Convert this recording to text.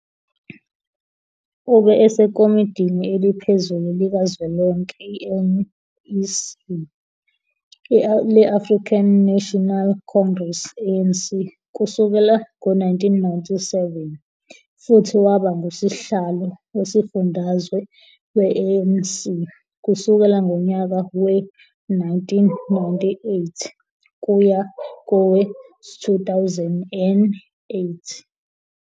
Ube eseKomitini Eliphezulu Likazwelonke, i-NEC, le-African National Congress, ANC, kusukela ngo-1997, futhi waba nguSihlalo Wesifundazwe we-ANC kusukela ngonyaka we-1998 kuya kowe-2008.